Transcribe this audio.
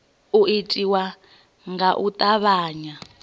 u itiwa nga u tavhanya